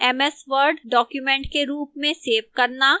ms word document के रूप में सेव करना